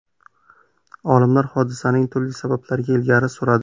Olimlar hodisaning turli sabablarini ilgari suradi.